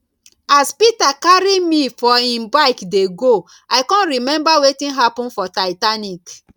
as peter carry me for im bike dey go i come remember wetin happen for titanic